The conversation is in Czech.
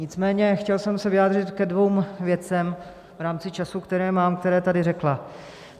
Nicméně chtěl jsem se vyjádřit ke dvěma věcem v rámci času, který mám, které tady řekla.